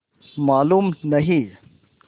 मालूम नहीं